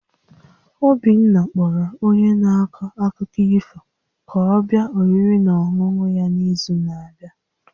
Obinna kpọrọ onye na-akọ akụkọ ifo ka ọ bịa oriri na ọṅụṅụ ya n'izu na-abịa